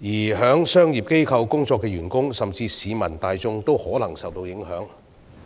在商業機構工作的員工，甚至市民大眾都可能會受到影響。